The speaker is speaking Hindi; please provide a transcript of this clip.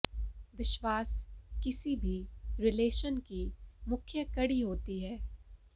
विश्वास किसी भी रिलेशन की मुख्य कड़ी होती है